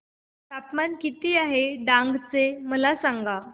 तापमान किती आहे डांग चे मला सांगा